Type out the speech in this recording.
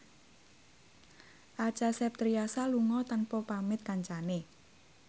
Acha Septriasa lunga tanpa pamit kancane